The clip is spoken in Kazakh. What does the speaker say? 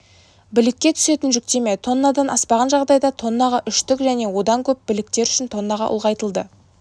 білікке түсетін жүктеме тоннадан аспаған жағдайда тоннаға үштік және одан көп біліктер үшін тоннаға ұлғайтылды